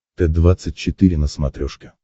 т двадцать четыре на смотрешке